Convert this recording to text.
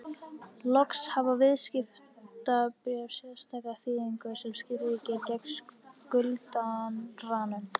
Loks hafa viðskiptabréf sérstaka þýðingu sem skilríki gegn skuldaranum.